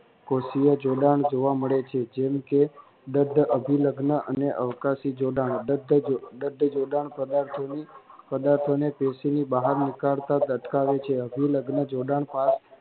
કોષીય જોડાણ જોવા મળે છે જેમ કે દદ્ધ અભિલગ્નઅને અવકાશી જોડાણ દદ્ધ જોડાણ પદાર્થોની પદાર્થોને પેશીની બહાર નીકળતા અટકાવે છે અભિલગ્ન જોડાણ